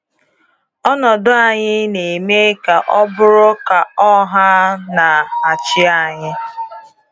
Ọnọdụ anyị na-eme ka ọ bụrụ ka ọ ha na achị anyị.